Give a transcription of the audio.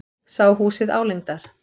Sá húsið álengdar.